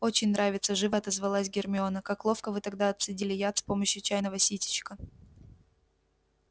очень нравится живо отозвалась гермиона как ловко вы тогда отцедили яд с помощью чайного ситечка